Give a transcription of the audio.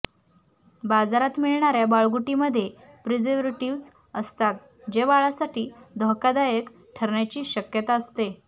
बाजारात मिळणाऱ्या बाळगुटी मध्ये प्रिजर्वेटिव्स असतात जे बाळासाठी धोकादायक ठरण्याची शक्यता असते